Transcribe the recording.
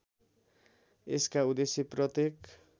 यसका उद्देश्य प्रत्येक